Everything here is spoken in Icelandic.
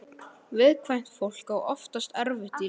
Viðkvæmt fólk á oftast erfitt í lífinu.